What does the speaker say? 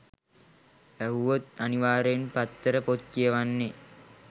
ඇහුවොත් අනිවාර්යෙන්ම පත්තර පොත් කියවන්නෙ